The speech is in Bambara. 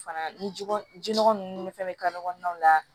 Fana ni jogo jogo ninnu fana bɛ ka kɔnɔnaw la